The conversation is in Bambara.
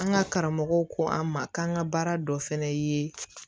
An ka karamɔgɔw ko an ma k'an ka baara dɔ fɛnɛ ye